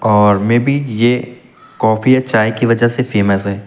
और में बी ये काफी या चाय के वजह से फेमस है।